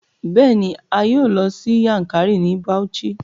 Bẹẹni, a yoo lọ si Yankari ni Bauchi